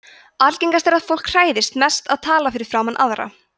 algengast er að fólk hræðist mest að tala fyrir framan aðra